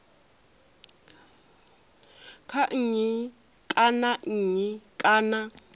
kha nnyi kana nnyi kana